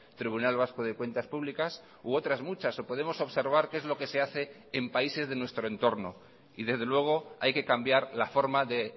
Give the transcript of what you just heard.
tribunal vasco de cuentas públicas u otras muchas o podemos observar qué es lo que se hace en países de nuestro entorno y desde luego hay que cambiar la forma de